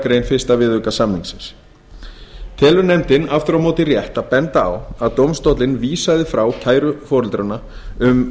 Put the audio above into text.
grein fyrsta viðauka samningsins telur nefndin aftur á móti rétt að benda á að dómstóllinn vísaði frá kæru foreldranna um